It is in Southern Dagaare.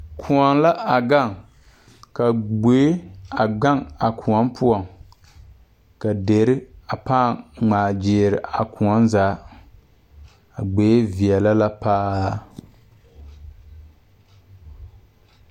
Kʋɔ la a gaŋ ka gboi a be a kuɔ pʋɔ. Deri gmaa gyili la a kuɔ zaa. A gboi veɛlɛ la paa